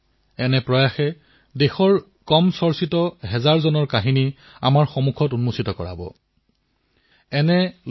আপোনালোকৰ এই প্ৰয়াসৰ দ্বাৰা দেশৰ হাজাৰলাখজন অজানা নায়ক সন্মুখলৈ ওলাই আহিব যি দেশৰ বাবে জীয়াইছিল দেশৰ বাবে মৃত্যু বৰণ কৰিছিল সময়ৰ সৈতে তেওঁলোক বিস্মৃত হৈ পৰিল